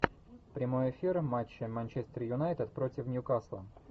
прямой эфир матча манчестер юнайтед против ньюкасла